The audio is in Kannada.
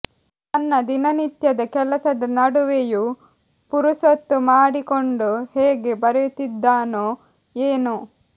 ತನ್ನ ದಿನನಿತ್ಯದ ಕೆಲಸದ ನಡುವೆಯೂ ಪುರುಸೊತ್ತು ಮಾಡಿಕೊಂಡು ಹೇಗೆ ಬರೆಯುತ್ತಿದ್ದನೋ ಏನೋ